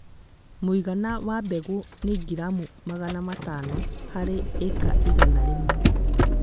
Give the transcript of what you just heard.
Mũigana wa mbegũ nĩ gramu magana matano harĩ ĩka igana rĩmwe